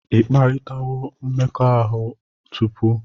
Ị kparịtawo mmekọahụ tupu?